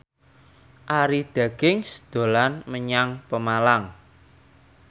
Arie Daginks dolan menyang Pemalang